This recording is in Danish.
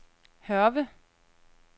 Hørve